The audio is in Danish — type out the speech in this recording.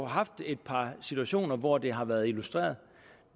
haft et par situationer hvor det har været illustreret